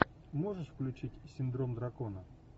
можешь включить синдром дракона